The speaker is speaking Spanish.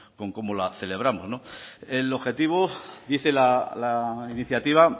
con cómo la celebramos el objetivo dice la iniciativa